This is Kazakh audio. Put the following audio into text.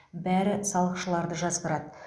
бәрі салықшыларды жазғырады